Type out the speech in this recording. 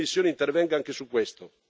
La Commissione intervenga anche su questo.